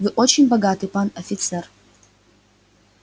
вы очень богаты пан офицер